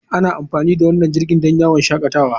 Ana amfani da wannan jirgin don yawon shakatawa.